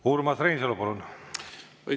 Urmas Reinsalu, palun!